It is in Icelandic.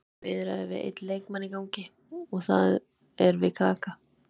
Það eru bara viðræður við einn leikmann í gangi og það er við Kaka.